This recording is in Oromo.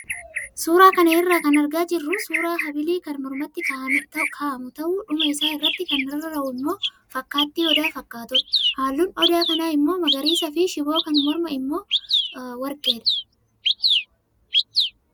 Suuraa kana irraa kan argaa jirru suuraa habilii kan mormatti kaa'amu ta'ee dhuma isaa irratti kan rarra'u immoo fakkaattii odaa fakkaatudha. Halluun odaa kanaa immoo magariisaa fi shiboo kan mormaa immoo warqeedha.